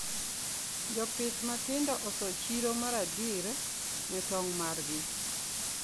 Jopith matindo oso chiro maradir ne tong margi